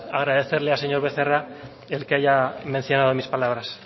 agradecerle al señor becerra el que haya mencionado mis palabras